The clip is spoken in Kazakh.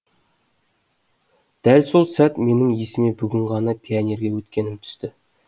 дәл сол сәт менің есіме бүгін ғана пионерге өткенім түсті